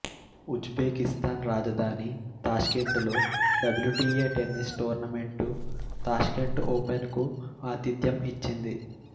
ఉజ్బెకిస్థాన్ రాజధాని తాష్కెంటులో W T A tennis tournament Tashkent open కు ఆతిథ్యం ఇచ్చింది